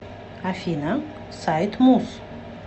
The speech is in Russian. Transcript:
афина сайт муз